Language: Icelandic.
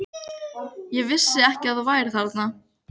Ég vissi ekki að þú værir þarna.